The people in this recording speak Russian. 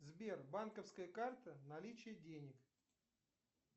сбер банковская карта наличие денег